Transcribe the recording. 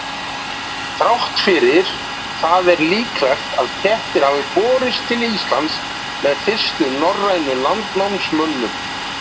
Þrátt fyrir það er líklegt að kettir hafi borist til Íslands með fyrstu norrænu landnámsmönnunum.